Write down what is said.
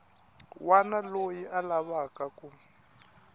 wana loyi a lavaka ku